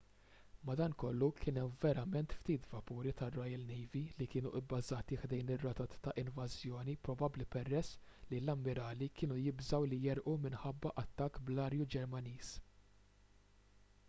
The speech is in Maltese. madankollu kien hemm verament ftit vapuri tar-royal navy li kienu bbażati ħdejn ir-rotot ta' invażjoni probabbli peress li l-ammirali kienu jibżgħu li jegħrqu minħabba attakk bl-ajru ġermaniż